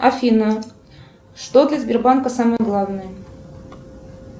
афина что для сбербанка самое главное